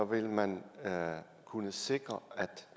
vil man kunne sikre at